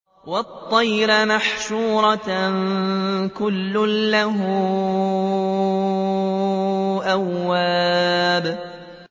وَالطَّيْرَ مَحْشُورَةً ۖ كُلٌّ لَّهُ أَوَّابٌ